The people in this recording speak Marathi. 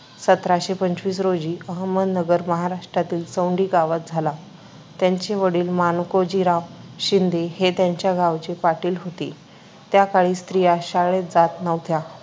सतराशे पंचवीस रोजी अहमदनगर अहमदनगर, महाराष्ट्रातील चोंडी गावात झाला. त्यांचे वडील माणकोजीराव शिंदे हे त्यांच्या गावचे पाटील होते. त्या काळी स्त्रिया शाळेत जात नव्हत्या,